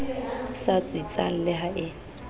sa tsitsang le ha e